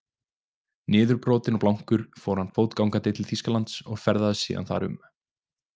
Niðurbrotinn og blankur fór hann fótgangandi til Þýskalands og ferðaðist síðan þar um.